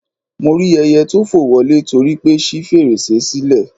Mo rí ẹyẹ tó fò wọlé torípé ṣí fèrèsé sílẹ̀